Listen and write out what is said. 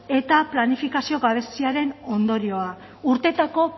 eta planifikazio gabeziaren ondorioa urteetako